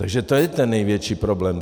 Takže to je ten největší problém.